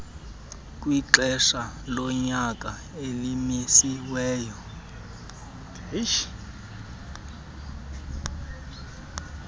kwexesha lonyaka elimisiweyo